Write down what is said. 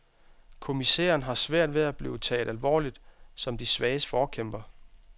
Kommissæren har svært ved at blive taget alvorligt som de svages forkæmper.